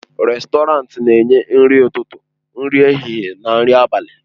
Rèstọrantị na-enye nri ụtụtụ, nri ehihie na nri abalị.